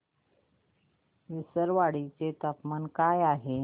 विसरवाडी चे तापमान काय आहे